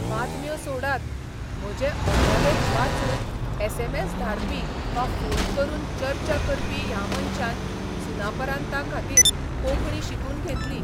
बातम्यो सोडात, म्हजे अग्रलेख वाचून एसएमएस धाडपी वा फोन करून चर्चा करपी ह्या मनशान सुनापरान्ताखातीर कोंकणी शिकून घेतली.